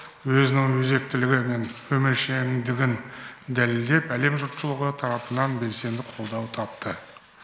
өзінің өзектілігі мен өміршеңдігін дәлелдеп әлем жұртшылығы тарапынан белсенді қолдау тапты